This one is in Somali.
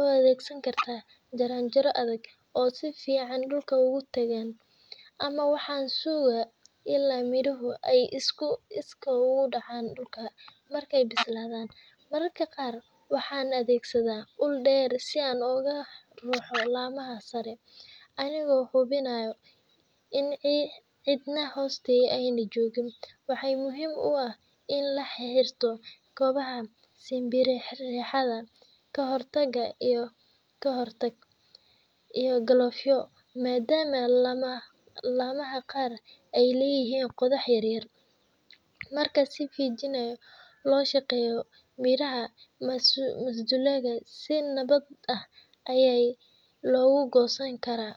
u adeegsadaa jaranjaro adag oo si fiican dhulka ugu taagan, ama waxaan sugaa ilaa midhuhu ay iskii uga dhacaan dhulka markay bislaadaan. Mararka qaar waxaan adeegsadaa ul dheer si aan uga ruxo laamaha sare, anigoo hubinaya in cidna hoosta aanay joogin. Waxaa muhiim ah in la xirto kabaha simbiriirixan ka hortaga, iyo galoofyo, maadaama laamaha qaar ay leeyihiin qodxo yaryar. Marka si feejigan loo shaqeeyo, midhaha masdulaagga si nabad ah ayaa loo goosan karaa.